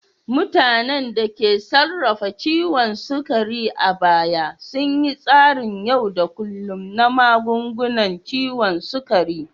Mutanen da ke sarrafa ciwon sukari a baya sun bi tsarin yau da kullun na magungunan ciwon sukari.